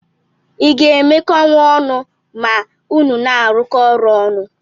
Iga emekọnwu ọnụ ma unu na arụkọ ọrụ ọnụ?